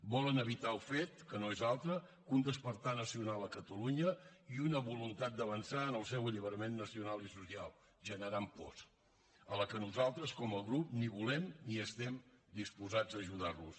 volen evitar el fet que no és altre que un despertar nacional a catalunya i una voluntat d’avançar en el seu alliberament nacional i social generant pors a la que nosaltres com a grup ni volem ni estem disposats a ajudar los